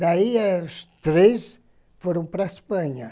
Daí os três foram para a Espanha.